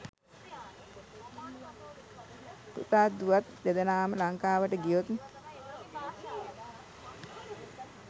පුතාත් දුවත් දෙදෙනාම ලංකාවට ගියොත්